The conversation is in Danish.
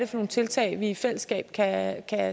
nogle tiltag vi i fællesskab kan